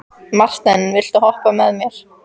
Marthen, viltu hoppa með mér?